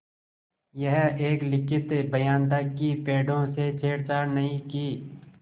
यह एक लिखित बयान था कि पेड़ों से छेड़छाड़ नहीं की